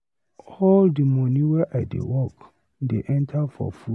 All di moni wey I dey work dey enta for food.